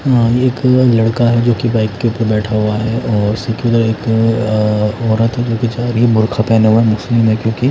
एक लड़का है जो कि बाइक के ऊपर बैठा हुआ है और एक औरत हैं जो बेचारी बुर्खा पहने हुए मुस्लिम है क्योंकि।